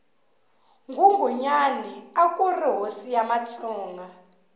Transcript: nghunghunyani akuri hosi ya matsonga